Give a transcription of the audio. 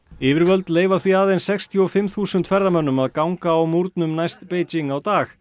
yfirvöld leyfa því aðeins sextíu og fimm þúsund ferðamönnum að ganga á múrnum næst Beijing á dag